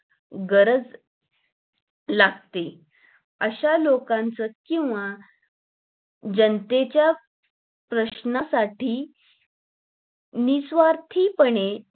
गरज लागते अशा लोकांचे किंवा जनतेच्या प्रश्नासाठी निस्वार्थीपणे